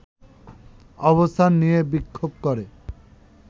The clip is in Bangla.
অবস্থান নিয়ে বিক্ষোভ করে